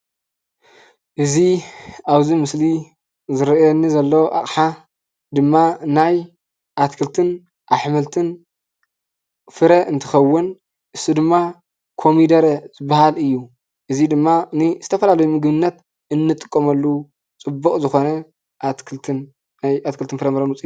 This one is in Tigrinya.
እዚ ኣብዚ ምስሊ ዝረኣየኒ ዘሎ ኣቐሓ ድማ ናይ ኣትክልትን ኣሕምልትን ፍረ እንትኽውን ንሱ ድማ ኮሚደረ ዝባሃል እዩ። እዙይ ድማ ንዝተፈላለዩ ምግብነት እንጥቀመሉ ፅቡቅ ዝኾነ ኣትክልትን ናይ ኣትክልትን ፍራምረን ውፂኢት እዩ።